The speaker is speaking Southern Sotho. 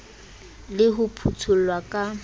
le ho phutho llwa ka